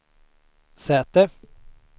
säte